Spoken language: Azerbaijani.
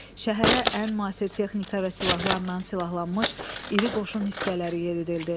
Şəhərə ən müasir texnika və silahlarla silahlanmış iri qoşun hissələri yeridildi.